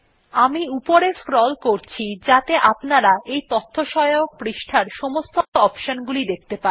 আমি উপরে স্ক্রল করছি যাতে আপনারা এই তথ্যসহায়ক পৃষ্ঠার সমস্ত অপশন গুলি দেখতে পারেন